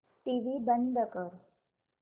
TV बंद कर